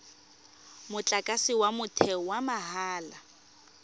motlakase wa motheo wa mahala